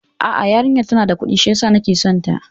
A'a, yarinyar tana da Kudi shiyasa nake son ta